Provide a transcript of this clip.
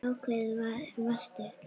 Ákveðin varstu.